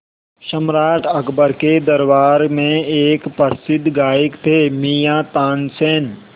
सम्राट अकबर के दरबार में एक प्रसिद्ध गायक थे मियाँ तानसेन